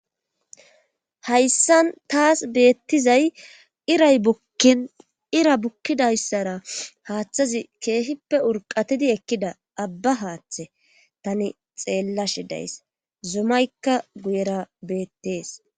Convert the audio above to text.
hayssan taas beettizay iray bukkin ira bukkidayssara haaththazi keehippe urqatidi ekkida abba haaththe tani xeellashe days zomaykka guyera beettees